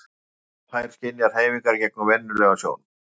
þar að auki geta þær skynjað hreyfingar gegnum venjulega sjón